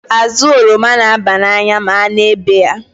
Azụ oroma n'aba n'anya ma a na-ebe ya.